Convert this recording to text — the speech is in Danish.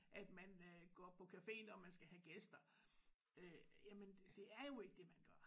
At man øh går på café når man skal have gæster øh jamen det er jo ikke det man gør